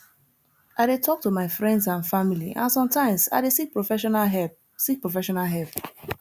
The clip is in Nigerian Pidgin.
i dey talk to my friends and family and sometimes i dey seek professional help seek professional help